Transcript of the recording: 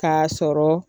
K'a sɔrɔ